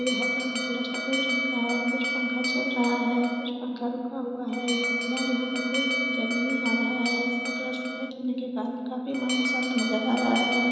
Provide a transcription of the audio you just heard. एह होटल का कलर सफ़ेद रंग का है कुछ पंखा चल रहा है कुछ पंखा रुका हुवा है येह फ़िलहाल यहा पर कोई भी नजर नहीं आ रहा है इसका कलर सफ़ेद होने के कारन खाफी माहौल शांत नजर आ रहा हैं।